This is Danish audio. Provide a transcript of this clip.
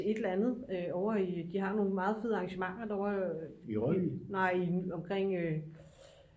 et eller andet ovre i de har nogle meget fede arrangementer derovre nej i